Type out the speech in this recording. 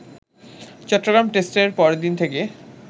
চট্টগ্রাম টেস্টের পরদিন থেকে